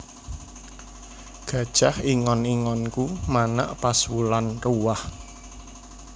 Gajah ingon ingonku manak pas wulan ruwah